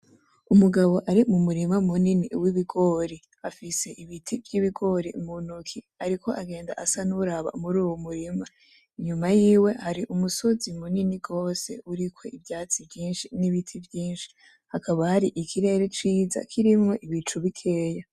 Umugabo ari mumurima munini w'ibigori. Afise ibiti vy'ibigori mu ntoki , ariko agenda asa nuwuraba muruwo murima, inyuma yiwe hari umusozi munini gose uriko ibivyatsi vyinshi n'ibiti vyinshi ,hakaba hari ikirere ciza kirimwo ibicu bikeya.